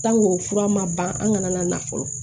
fura ma ban an kana na fɔlɔ